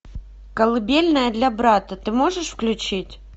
колыбельная для брата ты можешь включить